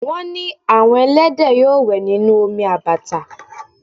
Wọ́n ní àwọn ẹlẹ́dẹ̀ yóò wẹ̀ nínú omi àbàtà